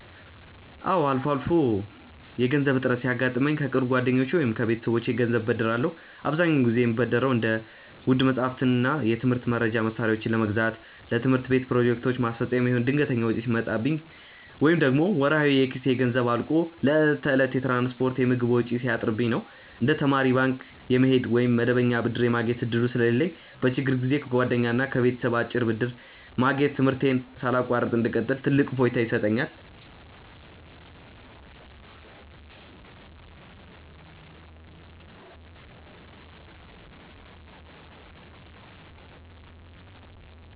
አዎ፣ አልፎ አልፎ የገንዘብ እጥረት ሲያጋጥመኝ ከቅርብ ጓደኞቼ ወይም ከቤተሰቦቼ ገንዘብ እበደራለሁ። አብዛኛውን ጊዜ የምበደረው እንደ ውድ መጻሕፍትና የትምህርት መርጃ መሣሪያዎችን ለመግዛት፣ ለትምህርት ቤት ፕሮጀክቶች ማስፈጸሚያ የሚሆን ድንገተኛ ወጪ ሲመጣብኝ፣ ወይም ደግሞ ወርሃዊ የኪስ ገንዘቤ አልቆ ለዕለት ተዕለት የትራንስፖርትና የምግብ ወጪ ሲያጥርብኝ ነው። እንደ ተማሪ ባንክ የመሄድ ወይም መደበኛ ብድር የማግኘት ዕድሉ ስለሌለኝ፣ በችግር ጊዜ ከጓደኛና ከቤተሰብ አጭር ብድር ማግኘት ትምህርቴን ሳላቋርጥ እንድቀጥል ትልቅ እፎይታ ይሰጠኛል።